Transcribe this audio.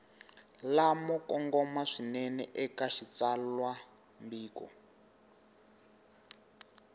lamo kongoma swinene eka xitsalwambiko